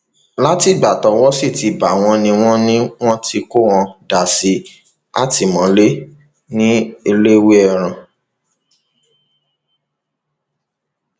látìgbà tọwọ sì ti bá wọn ni wọn ni wọn ti kó wọn dà sátìmọlé ní ẹlẹwẹẹràn